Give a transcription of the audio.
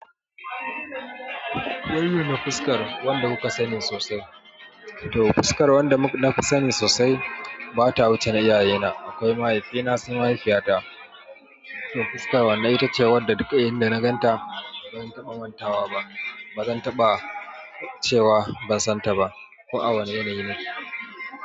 Wan mana fuskar wanda kuka sani sosai to fuskar wanda nafi sani sosai, bata wuce na iyayena, akwai mahaifina suna mahaifiyata. To fuskar wannan ita ce wadda duk inda na ganta ban taba mantawa ba, bazan taɓa cewa ban san ta ba. Ko a wane yanayi ne.